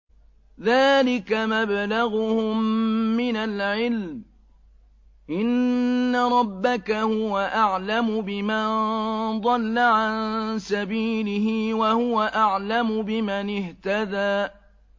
ذَٰلِكَ مَبْلَغُهُم مِّنَ الْعِلْمِ ۚ إِنَّ رَبَّكَ هُوَ أَعْلَمُ بِمَن ضَلَّ عَن سَبِيلِهِ وَهُوَ أَعْلَمُ بِمَنِ اهْتَدَىٰ